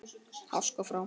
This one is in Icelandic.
Háska frá.